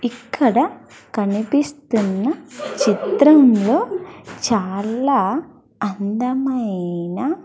ఇక్కడ కనిపిస్తున్న చిత్రంలో చాలా అందమైన.